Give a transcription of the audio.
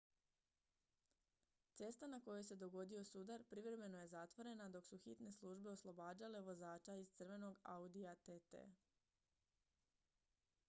cesta na kojoj se dogodio sudar privremeno je zatvorena dok su hitne službe oslobađale vozača iz crvenog audija tt